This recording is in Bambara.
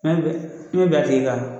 Mɛn bɛ i be ben a tigi kan